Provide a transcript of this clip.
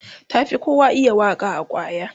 ta Fi kowa iya Waka a kwaya